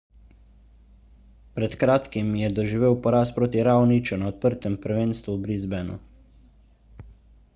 pred kratkim je doživel poraz proti raoniću na odprtem prvenstvu v brisbaneu